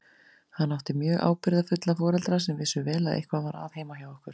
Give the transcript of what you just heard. Hann átti mjög ábyrgðarfulla foreldra sem vissu vel að eitthvað var að heima hjá okkur.